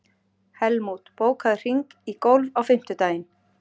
Helmút, bókaðu hring í golf á fimmtudaginn.